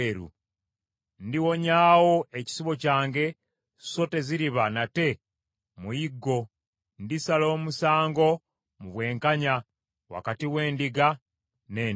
ndiwonyawo ekisibo kyange so teziriba nate muyiggo. Ndisala omusango mu bwenkanya wakati w’endiga n’endiga.